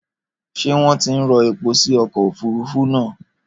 Ṣé wọ́n ti ń rọ epo sí ọkọ̀ òfurufú náà?